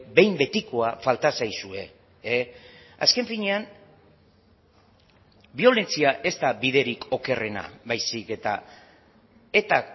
behin betikoa falta zaizue azken finean biolentzia ez da biderik okerrena baizik eta eta